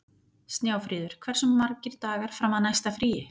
Snjáfríður, hversu margir dagar fram að næsta fríi?